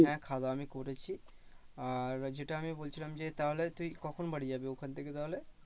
হ্যাঁ খাওয়া দাওয়া আমি করেছি। আর যেটা আমি বলছিলাম যে তাহলে তুই কখন বাড়ি যাবি ওখান থেকে তাহলে?